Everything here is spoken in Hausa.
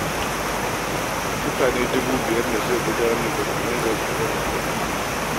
Mutane dubu biyar ne suka gudanar da zanga-zangar tsadar rayuwa